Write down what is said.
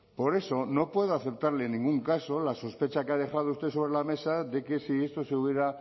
por eso no puedo aceptarle en ningún caso la sospecha que ha dejado usted sobre la mesa de que si esto se hubiera